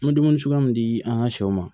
N bɛ dumuni suguya min di an ka sɛw ma